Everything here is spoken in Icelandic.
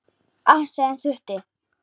Allt sem þurfti.